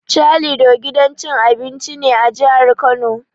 Calido gidan cin abinci ne a jihar Kano.